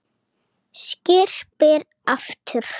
Skyrpir aftur.